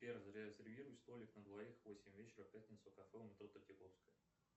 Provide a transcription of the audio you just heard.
сбер зарезервируй столик на двоих в восемь вечера в пятницу кафе у метро третьяковская